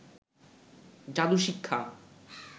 জাদু শিক্ষা